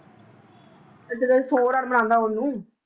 ਆਹ ਜਿਹੜੇ ਸੌ ਰਨ ਬਣਾਉਂਦਾ ਓਹਨੂੰ